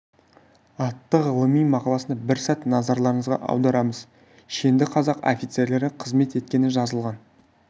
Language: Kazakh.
атты ғылыми мақаласында бір сәт назарларыңызға аударамыз шенді қазақ офицерлері қызмет еткені жазылған